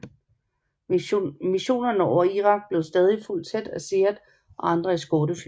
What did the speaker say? Missionerne over Irak blev stadig fulgt tæt af SEAD og andre eskortefly